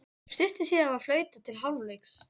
Stuttu síðar var flautað til hálfleiks.